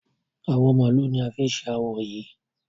Awọ màálù ni a fi ṣe awo yìí.